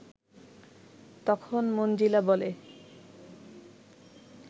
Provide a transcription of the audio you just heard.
তখন মনজিলা বলে